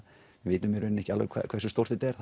við vitum í rauninni ekki alveg hversu stórt þetta er